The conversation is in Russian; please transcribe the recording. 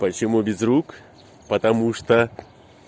почему безрук потому что